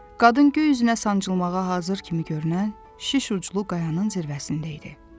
Qadın göy üzünə sancılmağa hazır kimi görünən, şiş uclu qayanın zirvəsində idi.